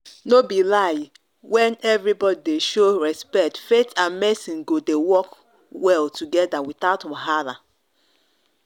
no be lie when everybody dey show respect faith and medicine go dey work well together without wahala.